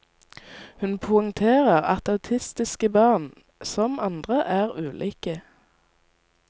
Hun poengterer at autistiske barn, som andre, er ulike.